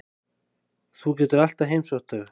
Þú getur alltaf heimsótt þau.